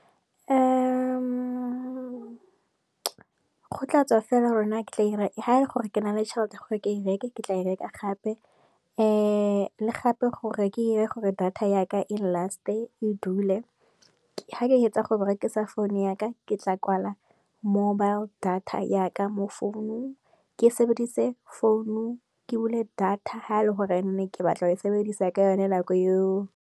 Go tlatswa fela gore na ke tla ha ele gore ke na le tšhelete ya gore ke e reke, ke tla e reka gape, le gape gore ke ire gore data yaka eng last, e dule. Ha ke hetsa go berekisa phone yaka ke tla kwala mobile data yaka mo founung, ke sebedise founu ke bule data ha e le gore ne ke batla go e sebedisa ka yone nako eo.